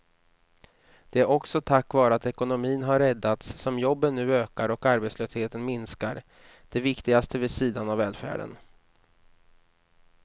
Det är också tack vare att ekonomin har räddats som jobben nu ökar och arbetslösheten minskar, det viktigaste vid sidan av välfärden.